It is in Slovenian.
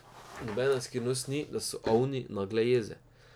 Nobena skrivnost ni, da so ovni nagle jeze.